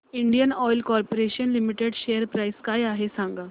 Indian oil corporation limited share price काय आहे सांगा